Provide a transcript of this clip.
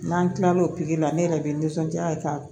N'an kila lo la ne yɛrɛ bɛ nisɔndiya ka